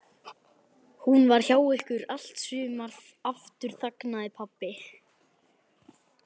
Hún var hjá ykkur í allt sumar. Aftur þagnaði pabbi.